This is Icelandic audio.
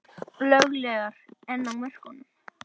Löglegar en á mörkunum